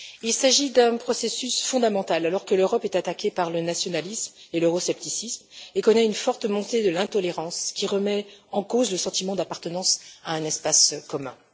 Il s'agit d'un processus fondamental, alors que l'Europe est attaquée par le nationalisme et l'euroscepticisme et connaît une forte montée de l'intolérance, qui remet en cause le sentiment d'appartenance à un espace commun.